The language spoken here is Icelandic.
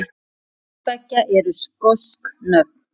Hvort tveggja eru skosk nöfn.